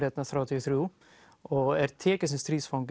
hérna þrjátíu og þrjú og er tekinn sem